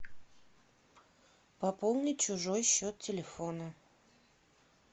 пополнить чужой счет телефона